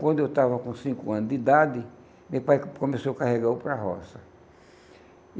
Quando eu estava com cinco anos de idade, meu pai começou a carregar eu para a roça.